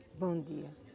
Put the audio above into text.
Bom dia.